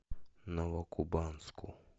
новокубанску